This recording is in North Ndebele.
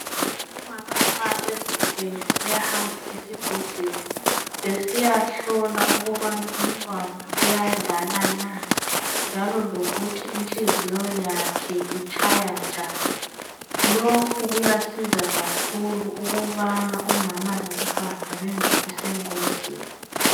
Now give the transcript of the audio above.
Umama nxa ezithwele uyahamba esibhedlela besiyahlola ukubana umntwana uyadlala na njalo lokuthi inhliziyo yakhe itshaya njani. Lokhu kuyasiza kakhulu ukubana umama lomntwana bangabi sengozini.